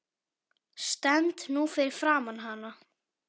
Stend nú fyrir framan hana.